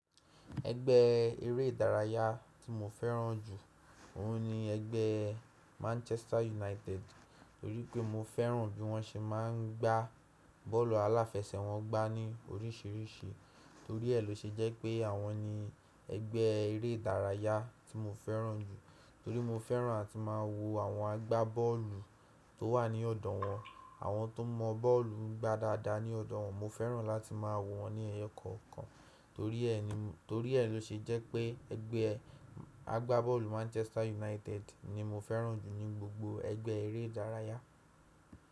Ẹgbẹ́ eré ìdárayá tí mo fẹ́ràn jù ọ̀un ni ẹgbẹ́ Manchester United, torí pé mo fẹ́ràn bí wọ́n ṣe máa ń gbá bọ́ọ̀lù aláfẹsẹ̀ wọ́n gbá ní oríṣìíríṣìí. Torí ẹ́ lọ ṣe jẹ́ pé àwọn ni ẹgbẹ́ eré ìdárayá tí mo fẹ́ràn jù. Torí mo fẹ́ràn áti máa wo àwọn agbábọ́ọ̀lù tó wà ní ọ̀dọ̀ wọn, àwọn tó mọ bọ́ọ̀lù gbá dáadáa ní ọ̀dọ̀ wọn. Mo fẹ́ràn láti máa wo wọn ní ẹyọ kọ̀ọ̀kan. Tori e ni Torí ẹ ló ṣe jẹ́ pé ẹgbẹ́ agbábọ́ọ̀lù Manchester United ni mo fẹ́ràn jù ní gbogbo ẹgbẹ́ eré ìdárayá.